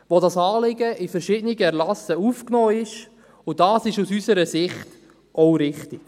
Dort ist das Anliegen in verschiedenen Erlassen aufgenommen, und das ist aus unserer Sicht auch richtig.